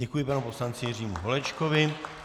Děkuji panu poslanci Jiřímu Holečkovi.